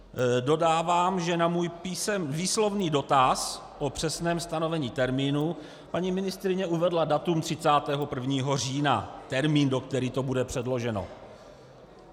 Dodávám, že na můj výslovný dotaz po přesném stanovení termínu paní ministryně uvedla datum 31. října, termín, do kterého to bude předloženo.